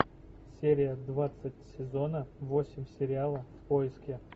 серия двадцать сезона восемь сериала в поиске